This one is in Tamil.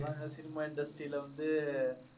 அதாங்க cinema industry ல வந்து